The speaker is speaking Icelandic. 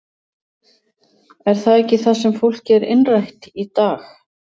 Er það ekki það sem fólki er innrætt í dag?